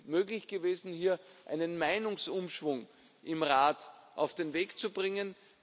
Es ist möglich gewesen, hier einen Meinungsumschwung im Rat auf den Weg zu bringen.